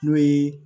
N'o ye